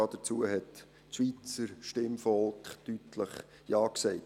Dazu hat das Schweizer Stimmvolk deutlich Ja gesagt.